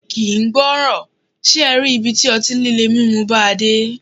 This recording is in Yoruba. Kì ń gbọràn, ṣe e rí ibi tí ọtí líle mímu bàa dé.